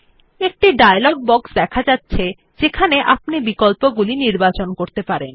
একটি dialog box দেখা যাচ্ছে যেখানে আপনি বিকল্পগুলি নির্বাচন করতে পারেন